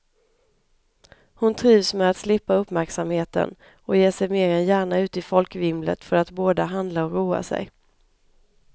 Hon trivs med att slippa uppmärksamheten och ger sig mer än gärna ut i folkvimlet för att både handla och roa sig.